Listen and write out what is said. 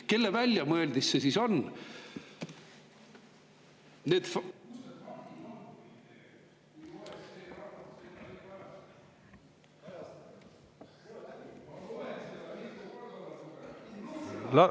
Kelle väljamõeldis see siis on?